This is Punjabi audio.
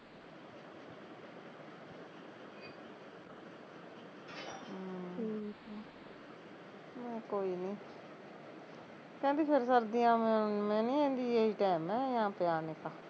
ਮੈਂ ਕਿਹਾਂ ਕੋਈ ਨੀ ਕਹਿੰਦੀ ਫਿਰ ਸਰਦੀਆ ਆ ਮੇ ਮੈਂਨੀ ਕਹਿੰਦੀ ਏਹੀ ਟੈਮ ਐ ਯਹਾ ਪੇ ਆਨੇ ਕਾ